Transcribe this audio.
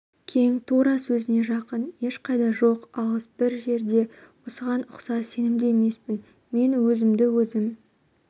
кең зтура сөзіне жақын ешқайда жоқ алыс бір жерде осыған ұқсас сенімді емеспін мен өзімді-өзім